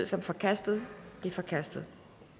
som forkastet de er forkastet